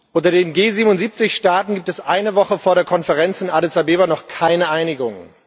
Unter den G77 Staaten gibt es eine Woche vor der Konferenz in Addis Abeba noch keine Einigung.